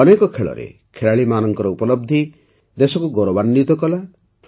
ଅନେକ ଖେଳରେ ଖେଳାଳୀମାନଙ୍କ ଉପଲବ୍ଧି ଦେଶକୁ ଗୌରବାନ୍ୱିତ କଲା